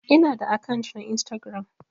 Ina da akant na Instagram.